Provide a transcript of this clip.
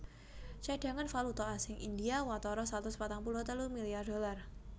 Cadhangan valuta asing India watara satus patang puluh telu milyar dolar